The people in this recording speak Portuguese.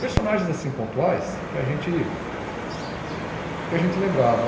personagens assim pontuais que a gente que a gente lembrava.